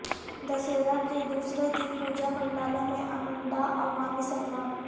دسہرہ کے دوسرے دن پوجاپنڈالوں میں امنڈا عوامی سیلاب